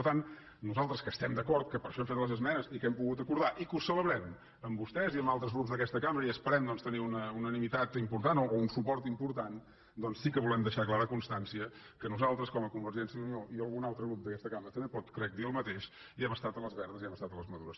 per tant nosaltres que hi estem d’acord que per això hem fet les esmenes i que hem pogut acordar i que ho celebrem amb vostès i amb altres grups d’aquesta cambra i esperem doncs tenir una unanimitat important o un suport important doncs sí que volem deixar clara constància que nosaltres com a convergència i unió i algun altre grup d’aquesta cambra també pot ho crec dir el mateix hi hem estat a les verdes i hi hem estat a les madures